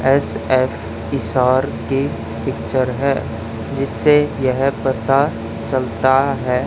SF Hisar के picture है जिससे यह पता चलता है।